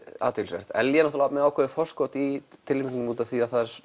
athyglisvert Ellý er náttúrulega með ákveðið forskot í tilnefningum af því að